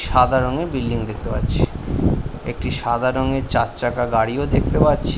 সাদা রংয়ের বিল্ডিং দেখতে পাচ্ছি। একটি সাদা রংয়ের চারচাকা গাড়িও দেখতে পাচ্ছি।